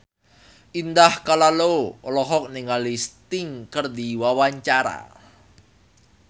Indah Kalalo olohok ningali Sting keur diwawancara